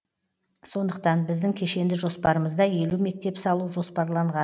сондықтан біздің кешенді жоспарымызда елу мектеп салу жоспарланған